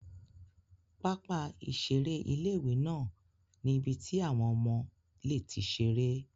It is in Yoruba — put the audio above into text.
Pápá ìseré ilé-ìwé náà ní ibi tí àwọn ọmọ lè ti seré